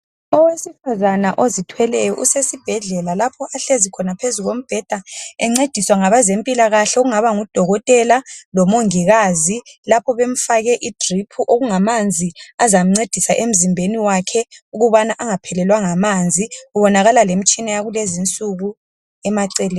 Owesifazana ozithweleyo usesibhedlela lapho ahlezi khona phezu kombheda encediswa ngabezempilakahle okungaba ngodokotela lomongikazi lapho bemfake idrip okumanzi azamncedisa emzimbeni wakhe ukuze engaphelelwa ngamanzi kulalemitshina yalezinsuku emaceleni.